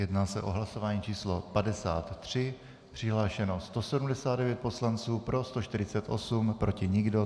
Jedná se o hlasování číslo 53, přihlášeno 179 poslanců, pro 148, proti nikdo.